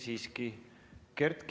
Tundub, et ...